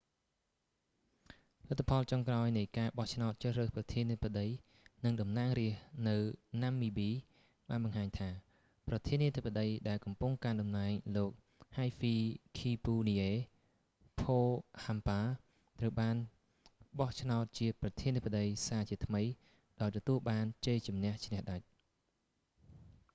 លទ្ធផលចុងក្រោយនៃការបោះឆ្នោតជ្រើសរើសប្រធានាធិបតីនិងតំណាងរាស្តនៅណាំមីប៊ី បានបង្ហាញថា ប្រធានាធិបតីដែលកំពុងកាន់តំណែង លោក ហៃហ្វីឃីពូនីអេ ផូហាំប៉ា hifikepunye pohamba ត្រូវបានបោះឆ្នោតជាប្រធានាធិបតីសាជាថ្មី ដោយទទួលបានជ័យជន្នះឈ្នះដាច់